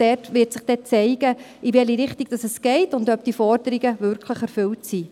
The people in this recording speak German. Dort wird sich dann zeigen, in welche Richtung es geht und ob diese Forderungen wirklich erfüllt sind.